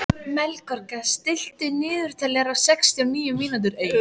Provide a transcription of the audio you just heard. Melkorka, stilltu niðurteljara á sextíu og níu mínútur.